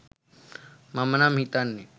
මම නම් හිතන්නෙ..